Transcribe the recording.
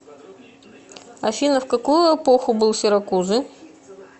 афина в какую эпоху был сиракузы